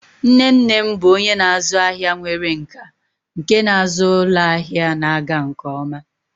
Nne nne m bụ onye na-azụ ahịa nwere nkà nke na-azụ ụlọ ahịa na-aga nke ọma.